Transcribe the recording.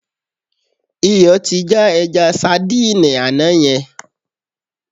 Iyọ̀ ti já ẹja sadíìnì àná yẹn.